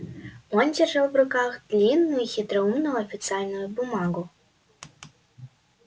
он держал в руках длинную хитроумную официальную бумагу